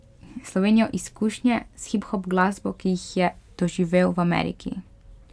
Slovenijo izkušnje s hiphop glasbo, ki jih je doživel v Ameriki.